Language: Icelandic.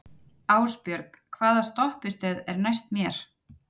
Ásbjörg, hvaða stoppistöð er næst mér?